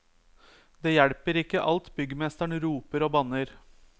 Det hjelper ikke alt byggmesteren roper og banner.